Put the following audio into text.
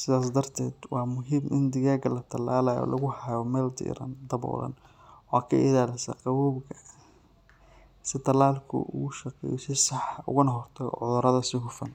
Sidaas darteed, waa muhiim in digaagga la tallaalayo lagu hayo meel diiran, daboolan oo ka ilaalisa qabowga si tallaalku ugu shaqeeyo si sax ah ugana hortago cudurrada si hufan.